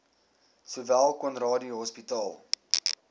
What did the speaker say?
sowel conradie hospitaal